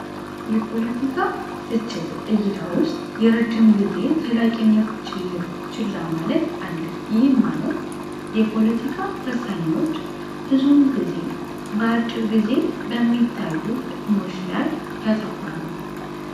የፖለቲካ ትችት እይታ ውስጥ የረጅም ጊዜ ዘላቂነት ችላ ማለት አለ ይህም ማለት የፖለቲካ ወሳኞች ብዙውን ጊዜ በአጭር ጊዜ በሚታዩ ጥቅሞች ላይ ያታኩራሉ።